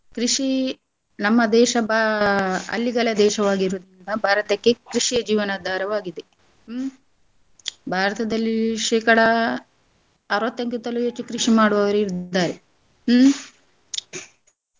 ಕೃಷಿ ನಮ್ಮ ದೇಶ ಬಾ~ ಹಳ್ಳಿಗಳ ದೇಶವಾಗಿರುದ್ರಿಂದ ಭಾರತಕ್ಕೆ ಕೃಷಿಯೇ ಜೀವನ ಆಧಾರವಾಗಿದೆ ಹ್ಮ್ ಭಾರತದಲ್ಲಿ ಶೇಕಡಾ ಅರವತ್ತಕ್ಕಿಂತಲೂ ಹೆಚ್ಚು ಕೃಷಿ ಮಾಡುವವರಿದ್ದಾರೆ ಹ್ಮ್ .